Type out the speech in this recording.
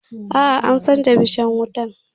A'a, an canja bishan wutan